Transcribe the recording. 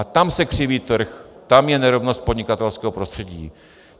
A tam se křiví trh, tam je nerovnost podnikatelského prostředí.